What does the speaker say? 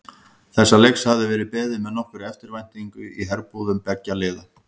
Þessa leiks hafði verið beðið með nokkurri eftirvæntingu í herbúðum beggja liða.